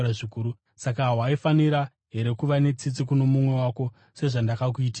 Saka hawaifanira here kuva netsitsi kuno mumwe wako sezvandakakuitira iwe?’